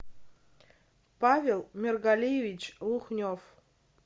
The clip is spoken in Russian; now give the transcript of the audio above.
павел мергалиевич лухнев